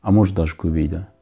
а может даже көбейді